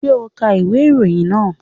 Ṣé o ka ìwé ìròyìn náà?